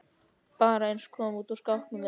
Bara eins og að koma út úr skápnum eða eitthvað.